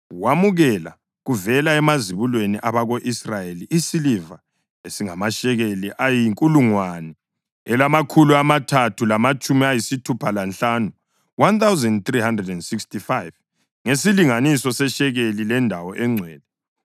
Wamukela kuvela emazibulweni abako-Israyeli isiliva esingamashekeli ayinkulungwane elamakhulu amathathu lamatshumi ayisithupha lanhlanu (1,365) ngesilinganiso seshekeli lendawo engcwele.